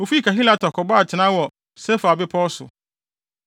Wofii Kahelata kɔbɔɔ atenae wɔ Sefer Bepɔw so.